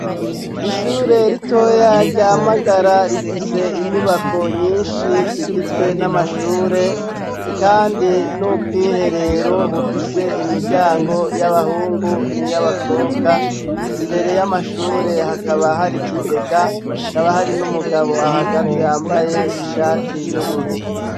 Ishure ritoya ryamagara rifise inyubako nyinshi zigizwe n'amashure, kandi n'ubwiherero bufise imiryango y'abahungu ni yo abakobwa imbere y'amashure hakaba hari ikigegahakaba hari n'umugabo ahagaze yambaye ishare ikiyoboruro.